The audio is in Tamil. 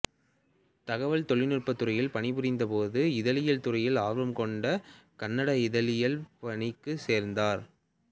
தகவல் தொழில்நுட்பத் துறையில் பணிபுரிந்த போது இதழியல் துறையில் ஆர்வம் கொண்டு கன்னட இதழ்களில் பணிக்குச் சேர்ந்தார்